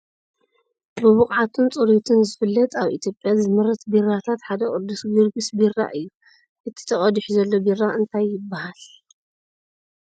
ብብቅዓቱን ፅሬቱን ዝፍለጥ ኣብ ኢትዮጵያ ዝምረት ቢራታት ሓደ ቅዱስ ጊዮርጊስ ቢራ እዩ ። እቲ ተቀዲሑሉ ዘሎ ቢራ እንታይ ይበሃል ?